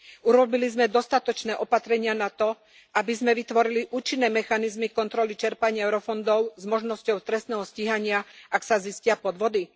Urobili sme dostatočné opatrenia na to, aby sme vytvorili účinné mechanizmy kontroly čerpania eurofondov s možnosťou trestného stíhania, ak sa zistia podvody?